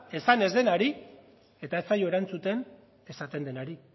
esan ez denari eta ez zaio erantzuten esaten denari